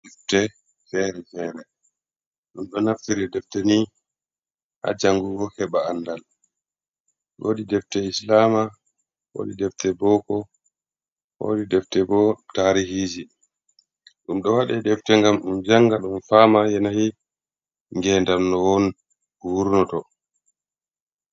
Defte feere-feere ɗum ɗo naftira defte nii ha janngugo heɓa anndal. Woodi defte islaama, woodi defte booko, woodi defte boo tariihiiji. Ɗum ɗo waɗa defte ngam ɗum jannga ɗum faama yanayi ngeendam no won, wurno to.